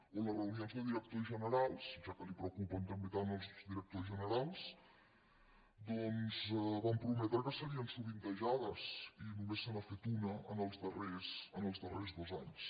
o les reunions de directors generals ja que li preocupen també tant els directors generals doncs van prometre que serien sovintejades i només se n’ha fet una en els darrers dos anys